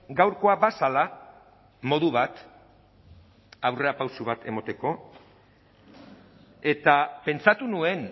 gaurkoa bazela modu bat aurrerapauso bat emateko eta pentsatu nuen